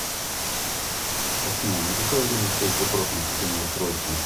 афина на какое время стоит запрос на отключение устройства